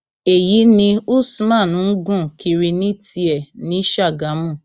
èyí ni usman ń gùn kiri ní tiẹ ní ṣàgámù